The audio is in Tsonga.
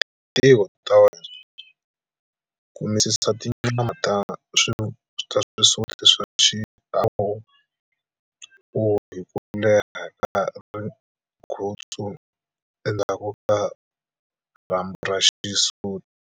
Hi tintiho ta wena, kumisisa tinyama ta swisuti swa xiuwo hi ku leha ka rigutsu endzhaku ka rhambu ra xisuti.